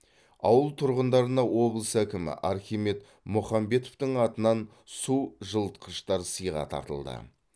ауыл тұрғындарына облыс әкімі архимед мұхамбетовтің атынан су жылытқыштар сыйға тартылды